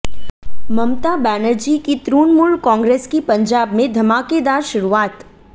ममता बैनर्जी की तृणमूल कांग्रेस की पंजाब में धमाकेदार शुरूआत